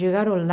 Chegaram lá,